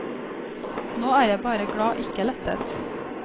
Nå er jeg bare glad, ikke lettet.